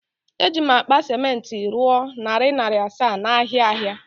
Eji'm akpa ciment rụọ narị narị asaa n’ahịa ahịa